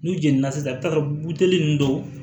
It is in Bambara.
N'u jeni na sisan i bɛ taa sɔrɔ buteli ninnu dɔw